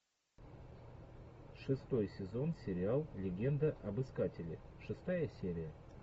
шестой сезон сериал легенда об искателе шестая серия